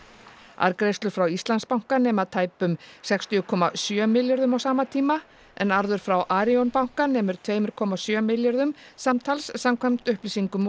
arðgreiðslur frá Íslandsbanka nema tæpum sextíu komma sjö milljörðum á sama tíma en arður frá Arion banka nemur tveimur komma sjö milljörðum samtals samkvæmt upplýsingum